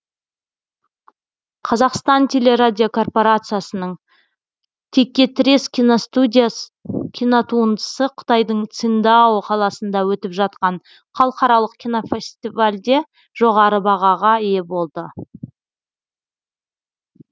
қазақстан телерадиокорпорациясының текетірес кинотуындысы қытайдың циндао қаласында өтіп жатқан халықаралық кинофастивальде жоғары бағаға ие болды